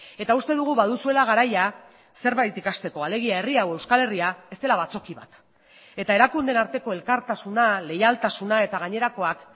eta uste dugu baduzuela garaia zerbait ikasteko alegia herri hau euskal herria ez dela batzoki bat eta erakundeen arteko elkartasuna leialtasuna eta gainerakoak